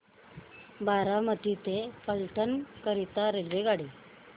बारामती ते फलटण करीता रेल्वेगाडी